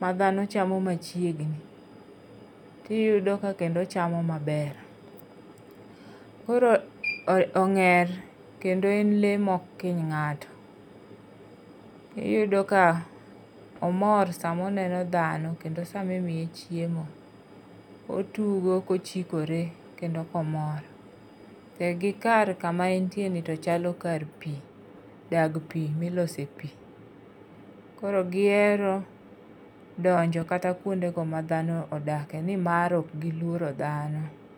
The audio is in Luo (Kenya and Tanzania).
madhano chamo machiegni, tiyudo ka kendo ochamo maber. Koro ong'er kendo en le ma ok kiny ng'ato. Iyudo ka omor sama oneno dhano kendo sama imiye chiemo, otugo, ka ochikore, kendo komor. E gi kar kama entiere ni to chalo kar pi. Dag pi milose pi. Koro gihero donjo kata kwonde go ma dhano odake, ni mar okgilworo dhano.